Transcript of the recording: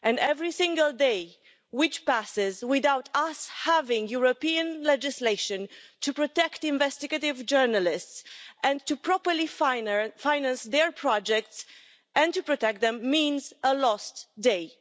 Every single day which passes without us having European legislation to protect investigative journalists and to properly finance their projects and to protect them means a lost day.